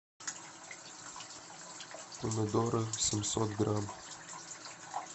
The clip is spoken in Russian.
помидоры семьсот грамм